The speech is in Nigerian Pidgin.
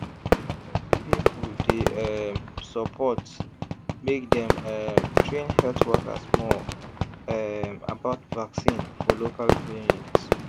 plenty people dey um support make dem um train health workers more um about vaccine for local clinics.